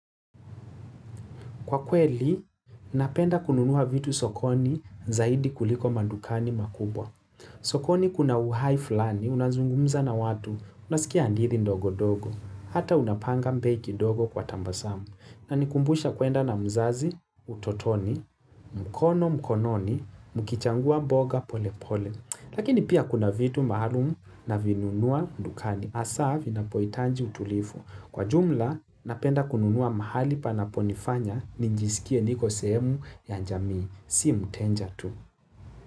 Kwa kweli, napenda kununua vitu sokoni zaidi kuliko madukani makubwa. Sokoni kuna uhai fulani, unazungumza na watu, unasikia ndiri ndogo-ndogo. Hata unapanga bei kidogo kwa tabasamu. Na nikumbusha kuenda na mzazi, utotoni, mkono mkononi, mukichangua mboga pole pole. Lakini pia kuna vitu maalumu navinunua dukani. Asa, vinapoyitaji utulivu. Kwa jumla, napenda kununua mahali panaponifanya ni njisikie niko sehemu ya jamii. Si mteja tu.